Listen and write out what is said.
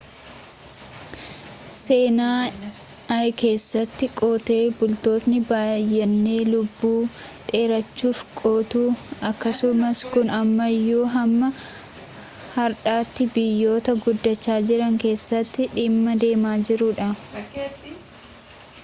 seenaa i keessatti qotee bultootni bayyene lubbuu dheereffachuuf qotu akkasumas kun ammayyuu hamma hardhatii biyyota guddacha jiran keessatti dhimma deemaa jiruudha